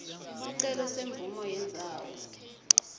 sicelo semvumo yendzawo